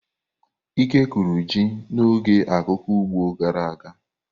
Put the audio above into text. Ike kụrụ ji n'oge akuku ugbo gara aga.